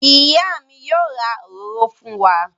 Ìyá mi yóò ra òróró fún wa.